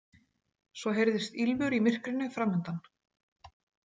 Svo heyrðist ýlfur í myrkrinu framundan.